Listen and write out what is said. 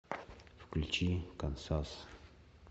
включи кансас